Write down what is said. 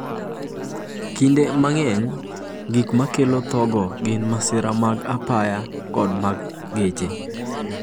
Kinde mang’eny, gik ma kelo thogo gin masira mag ndara kod mag gari.